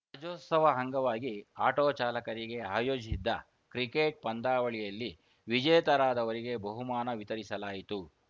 ರಾಜ್ಯೋತ್ಸವ ಅಂಗವಾಗಿ ಆಟೋ ಚಾಲಕರಿಗೆ ಆಯೋಜಿಸಿದ್ದ ಕ್ರಿಕೆಟ್‌ ಪಂದ್ಯಾವಳಿಯಲ್ಲಿ ವಿಜೇತರಾದವರಿಗೆ ಬಹುಮಾನ ವಿತರಿಸಲಾಯಿತು